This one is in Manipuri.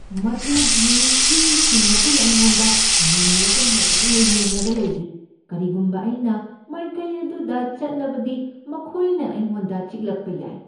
ꯃꯗꯨꯒꯤ ꯍꯨꯏꯁꯤꯡ ꯑꯗꯨꯅ ꯑꯩꯉꯣꯟꯗ ꯉꯪꯂꯒ ꯃꯨꯟꯅ ꯌꯦꯡꯂꯒ ꯂꯩꯔꯤ꯫ ꯀꯔꯤꯒꯨꯝꯕ ꯑꯩꯅ ꯃꯥꯏꯀꯩ ꯑꯗꯨꯗ ꯆꯠꯂꯕꯗꯤ ꯃꯈꯣꯏꯅ ꯑꯩꯉꯣꯟꯗ ꯆꯤꯛꯂꯛꯄ ꯌꯥꯏ꯫